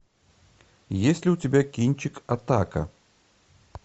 есть ли у тебя кинчик атака